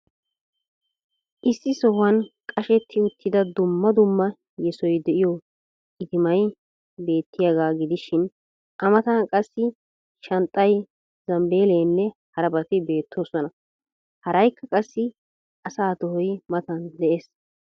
Issi sohuwaan qashshetti uttida dumma dumma yesoy diyo itimay beettiyaagaa gidishiin a mataan qassi shanxxay, zambeelenne harabaati beettoosonna. Haraykka qassi asa tohoy mataan dees.